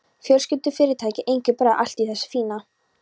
Fjölskyldufyrirtæki, engir bræður, allt í þessu fína.